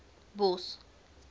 bos